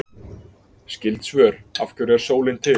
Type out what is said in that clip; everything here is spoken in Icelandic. Skyld svör: Af hverju er sólin til?